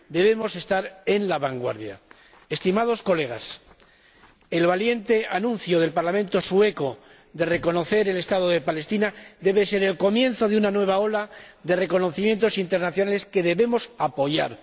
Debemos estar en la vanguardia. Estimados colegas, el valiente anuncio del Parlamento sueco de reconocer el Estado de Palestina debe ser el comienzo de una nueva ola de reconocimientos internacionales que debemos apoyar.